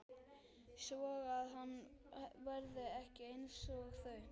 Svoað hann verði ekki einsog þau.